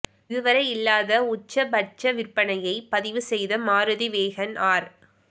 இதுவரை இல்லாத உச்சபட்ச விற்பனையை பதிவு செய்த மாருதி வேகன் ஆர்